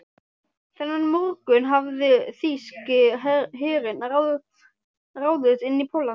Þennan morgunn hafði þýski herinn ráðist inn í Pólland.